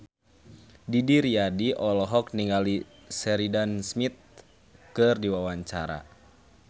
Didi Riyadi olohok ningali Sheridan Smith keur diwawancara